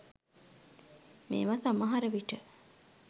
මේව සමහර විට